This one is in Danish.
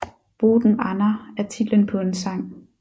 Boten Anna er titlen på en sang